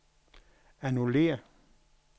annullér